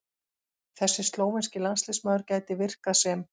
Þessi slóvenski landsliðsmaður gæti virkað sem